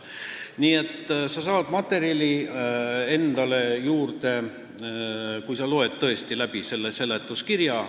Nii et sa saad endale materjali juurde, kui sa loed tõesti selle seletuskirja läbi.